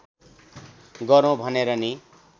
गरौँ भनेर नि